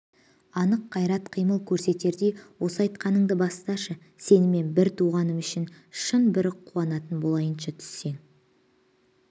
анық қайрат қимыл көрсетердей осы айтқаныңды басташы сенімен бір туғаным үшін шын бір қуанатын болайыншы түссең